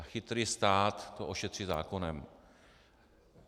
A chytrý stát to ošetří zákonem.